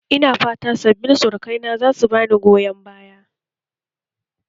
Ina fata sabbin surukaina za su ba ni goyon baya